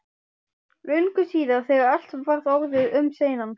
Löngu síðar, þegar allt var orðið um seinan.